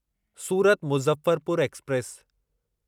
Surat Muzaffarpur express